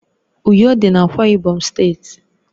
Uyo dị n'Akwa Ibom steeti